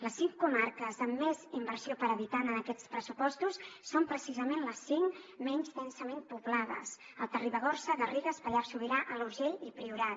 les cinc comarques amb més inversió per habitant en aquests pressupostos són precisament les cinc menys densament poblades alta ribagorça garrigues pallars sobirà alt urgell i priorat